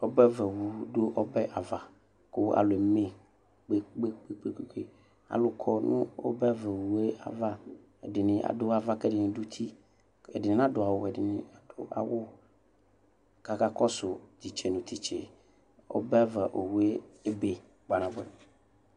Ɔbɛ ava owʋ dʋ obɛava kʋ alʋ eme kpe kpe kpe kpe alʋkɔ nʋ ɔbɛava owʋe ava ɛdini adʋ ava kʋ ɛdini dʋ uti ɛdini nadʋ awʋ bʋ ɛdini adʋ awʋ kʋ akakɔsʋ titse nʋ tise ɔbɛava owʋɛ ebe kpa nabʋɛ